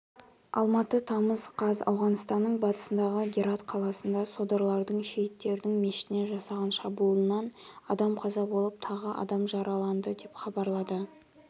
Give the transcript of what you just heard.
алматы тамыз қаз ауғанстанның батысындағы герат қаласында содырлардың шейттердің мешітіне жасаған шабуылынан адам қаза болып тағы адам жараланды деп хабарлады